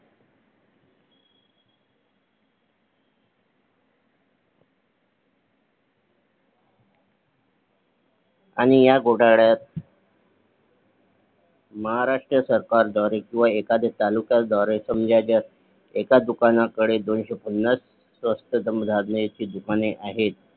आणि ह्या घोटाळ्यात महाराष्ट्र सरकार द्वारे किंवा एखाद्या तालुक्या द्वारे समजा जर एखाद्या दुकाना कडे दोनशेपन्नास स्वस्त धान्याची दुकाने आहेत.